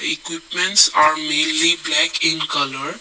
equipments are madely block in colour.